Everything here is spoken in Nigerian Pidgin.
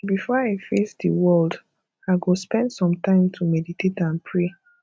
before i face di world i go spend some time to meditate and pray